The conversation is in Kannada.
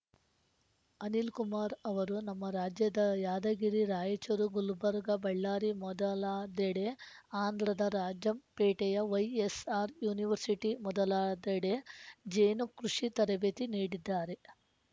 ಅನಿಲ್‌ ಕುಮಾರ್‌ ಅವರು ನಮ್ಮ ರಾಜ್ಯದ ಯಾದಗಿರಿ ರಾಯಚೂರು ಗುಲ್ಬರ್ಗಾ ಬಳ್ಳಾರಿ ಮೊದಲಾದೆಡೆ ಆಂಧ್ರದ ರಾಜಂಪೇಟೆಯ ವೈಎಸ್‌ಆರ್‌ ಯುನಿವರ್ಸಿಟಿ ಮೊದಲಾದೆಡೆ ಜೇನುಕೃಷಿ ತರಬೇತಿ ನೀಡಿದ್ದಾರೆ